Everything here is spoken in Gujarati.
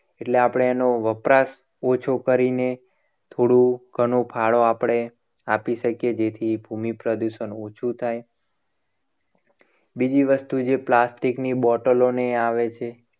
એટલે આપણે એનો વપરાશ ઓછો કરીને થોડો ઘણો ફાળો આપણે આપી શકીએ. જેથી ભૂમિ પ્રદૂષણ ઓછું થાય. બીજી વસ્તુ છે. plastic ની બોટલો ને એ આવે છે.